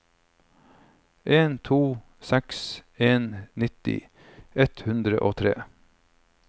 en to seks en nitti ett hundre og tre